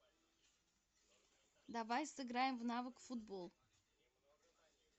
давай сыграем в навык футбол